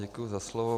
Děkuji za slovo.